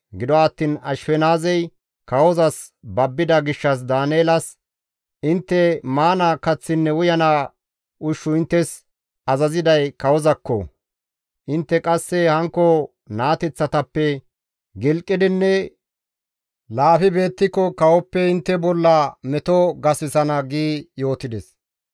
Gido attiin Ashifenaazey kawozas babbida gishshas Daaneelas, «Intte maana kaththinne uyana ushshu inttes azaziday kawozaakko; intte qasse hankko naateththatappe gilqidinne laafi beettiko kawoppe intte bolla meto gasisana» gi yootides.